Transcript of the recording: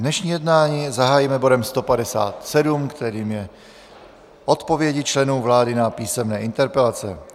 Dnešní jednání zahájíme bodem 157, kterým je odpovědi členů vlády na písemné interpelace.